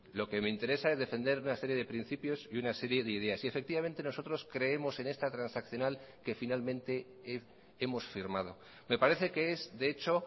lo que me interesa es defender una serie de principios y una serie de ideas y efectivamente nosotros creemos en esta transaccional que finalmente hemos firmado me parece que es de hecho